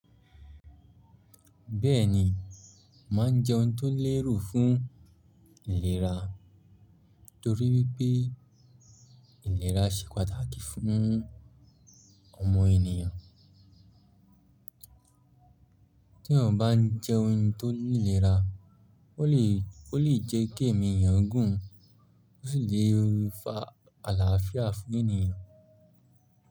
Bẹ́ẹ̀ni, màá jẹ́ ohun tó lérù fún ìlera torí wípé ìlera ṣe pàtàkì fún ọmọ ènìyàn. Tí ẹyàn bá ń jẹ́ ohun tó ní ìlera, ó lè, ó lè jẹ́ kí èmi èyàn gùn, ó sì lè fa àlàáfíà fún ènìyàn.